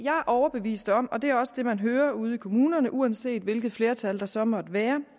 er overbevist om og det er også det man hører ude i kommunerne uanset hvilket flertal der så måtte være